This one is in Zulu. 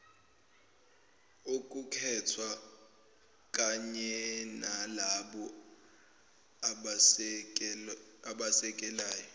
okukhethwa kanyenalabo abasekelayo